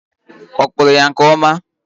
Ọ kpuru ya nke ọma?